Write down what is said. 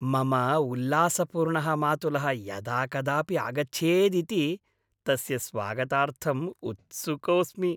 मम उल्लासपूर्णः मातुलः यदा कदापि आगच्छेदिति, तस्य स्वागतार्थं उत्सुकोऽस्मि।